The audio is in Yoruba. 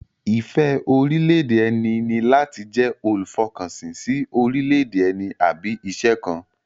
Ìfẹ́ orílẹ̀-èdè ẹni ní láti jẹ́ olùfọkànsìn sí orílẹ̀-èdè ẹni àbí iṣẹ́ kan